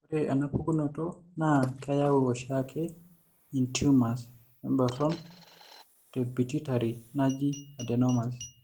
Ore enapukunoto naa keyau oshiake intumors emboron tempituitary naji adenomas.